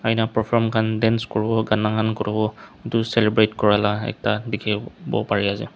ena perform khan dance kuriwo gana Han kuriwo edu celebrate kurala ekta dikhiwo parease.